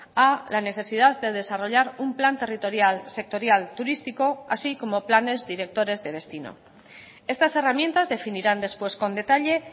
a la necesidad de desarrollar un plan territorial sectorial turístico así como planes directores de destino estas herramientas definirán después con detalle